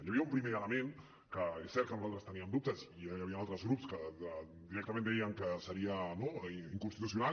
hi havia un primer element sobre la que és cert que nosaltres teníem dubtes i hi havia altres grups que directament deien que seria inconstitucional